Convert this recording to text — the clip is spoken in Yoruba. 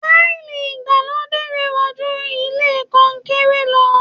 Táìlì ìgbàlódé rẹwa jú ilẹ kọnkéré lọ.